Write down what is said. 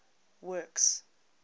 works